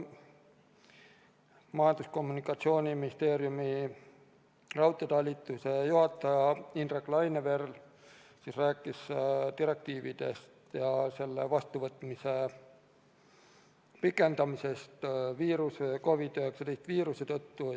Majandus- ja Kommunikatsiooniministeeriumi raudteetalituse juhataja Indrek Laineveer rääkis direktiivide ülevõtmise pikenemisest COVID-19 viiruse tõttu.